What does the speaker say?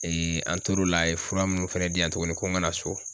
an tor'o la, a ye fura minnu fana di yan tuguni ko n ka na so